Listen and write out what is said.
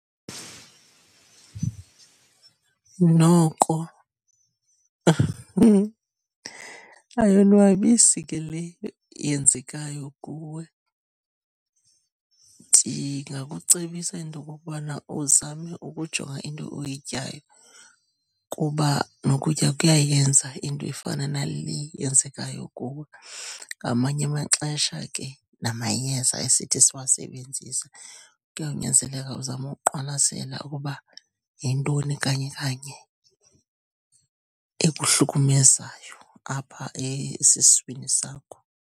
Noko ayonwabisi ke le yenzekayo kuwe. Ndingakucebisa into okokubana uzame ukujonga into oyityayo kuba nokutya kuyayenza into efana nale yenzekayo kuwe, ngamanye amaxesha ke namayeza esithi siwasebenzise. Kuyawunyanzeleka uzame uqwalasela ukuba yintoni kanye kanye ekuhlukumezayo apha esiswini sakho.